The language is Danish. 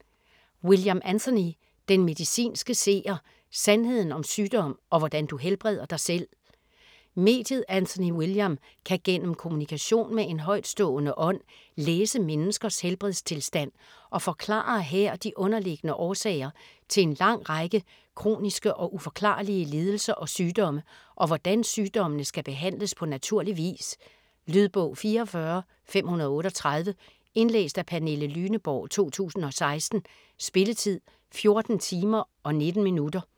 William, Anthony: Den medicinske seer: sandheden om sygdom og hvordan du helbreder dig selv Mediet Anthony William kan gennem kommunikation med en højtstående ånd læse menneskers helbredstilstand og forklarer her de underliggende årsager til en lang række kroniske og uforklarlige lidelser og sygdomme, og hvordan sygdommene skal behandles på naturlig vis. Lydbog 44538 Indlæst af Pernille Lyneborg, 2016. Spilletid: 14 timer, 19 minutter.